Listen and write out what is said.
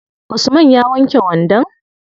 Usman ya wanke wandon?